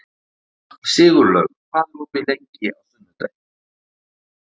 Sigurlaug, hvað er opið lengi á sunnudaginn?